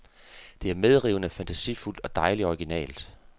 Det er medrivende, fantasifuldt og dejligt originalt.